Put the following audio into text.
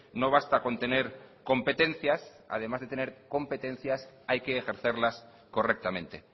no basta con tener competencias además de tener competencias hay que ejercerlas correctamente